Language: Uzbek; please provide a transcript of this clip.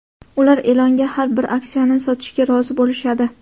ular Elonga har bir aksiyasini sotishga rozi bo‘lishadi.